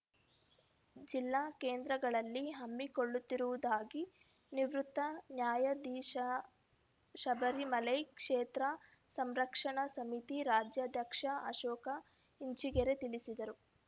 ಜಿಲ್ಲಾ ಕೇಂದ್ರಗಳಲ್ಲಿ ಹಮ್ಮಿಕೊಳ್ಳುತ್ತಿರುವುದಾಗಿ ನಿವೃತ್ತ ನ್ಯಾಯಾಧೀಶಶಬರಿಮಲೈ ಕ್ಷೇತ್ರ ಸಂರಕ್ಷಣಾ ಸಮಿತಿ ರಾಜ್ಯಾಧ್ಯಕ್ಷ ಅಶೋಕ ಇಂಚಿಗೆರೆ ತಿಳಿಸಿದರು